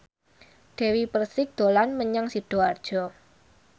Dewi Persik dolan menyang Sidoarjo